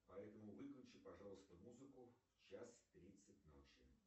поэтому выключи пожалуйста музыку в час тридцать ночи